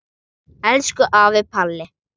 Elsku afi Palli.